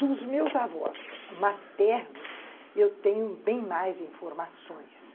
Dos meus avós maternos, eu tenho bem mais informações.